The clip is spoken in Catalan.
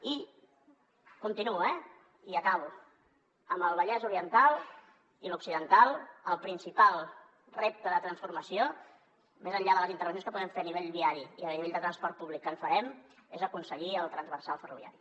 i continuo eh i acabo en el vallès oriental i l’occidental el principal repte de transformació més enllà de les intervencions que puguem fer a nivell viari i a nivell de transport públic que en farem és aconseguir el transversal ferroviari